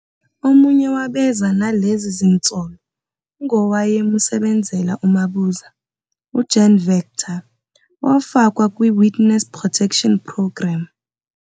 Omunye wabeza nalezi zinsolo, ungowaye musebenzela uMabuza, uJan Venter owafakwa kwi witness protection program.